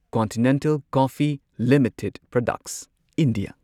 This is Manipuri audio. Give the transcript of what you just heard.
continental Coffee Limited Products India